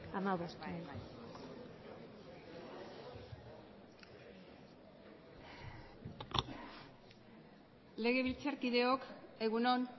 amabost legebiltzarkideok egun on